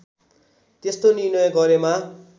त्यस्तो निर्णय गरेमा